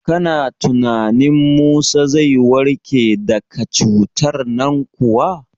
Kana tunanin Musa zai warke daka cutar nan kuwa?